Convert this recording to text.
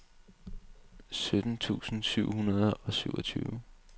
sytten tusind syv hundrede og syvogtyve